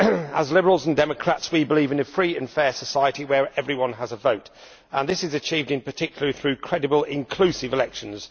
As liberals and democrats, we believe in a free and fair society where everyone has a vote, and this is achieved in particular through credible inclusive elections.